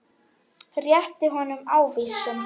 Rétti honum ávísun.